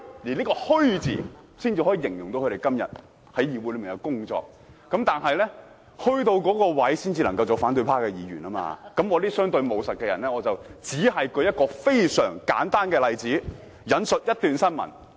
這個"虛"字才能形容他們今天在議會的工作，虛到一定程度才能做反對派議員，我這種相對務實的人只舉出一個非常簡單的例子，引述一段新聞，請......